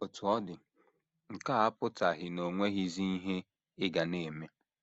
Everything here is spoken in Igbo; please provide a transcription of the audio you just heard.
Otú ọ dị, nke a apụtaghị na o nweghịzi ihe ị ga na - eme.